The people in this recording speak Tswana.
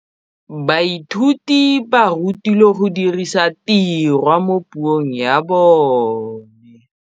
Baithuti ba rutilwe go dirisa tirwa mo puong ya bone.